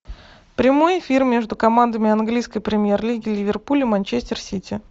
прямой эфир между командами английской премьер лиги ливерпуль и манчестер сити